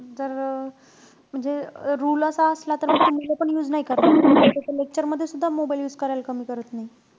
जर म्हणजे rule असा असला तर मुलं पण use नाई करणार. नाई त ते lecture मध्ये सुद्धा mobile use करायला कमी करत नाई.